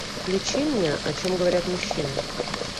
включи мне о чем говорят мужчины